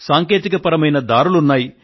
సాంకేతికపరమైన దారులు ఉన్నాయి